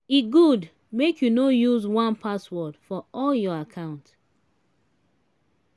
e good make you no use one password for all of your account.